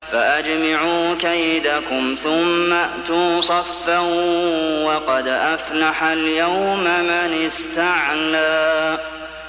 فَأَجْمِعُوا كَيْدَكُمْ ثُمَّ ائْتُوا صَفًّا ۚ وَقَدْ أَفْلَحَ الْيَوْمَ مَنِ اسْتَعْلَىٰ